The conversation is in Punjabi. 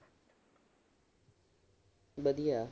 ਵਧੀਆ।